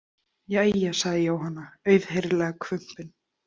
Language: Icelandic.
Jæja, sagði Jóhanna, auðheyrilega hvumpin.